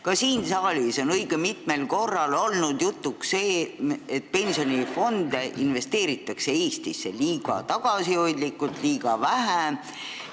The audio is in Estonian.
Ka siin saalis on õige mitmel korral olnud jutuks see, et pensionifondide varasid investeeritakse Eestisse liiga tagasihoidlikult, väga vähe.